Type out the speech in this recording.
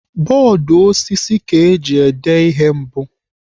Bọọdụ osisi ka eji dee ihe mbụ.